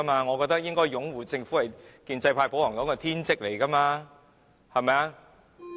我覺得擁護政府是建制派、保皇黨的天職。